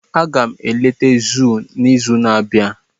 Aga m eleta zoo n'izu na-abịa.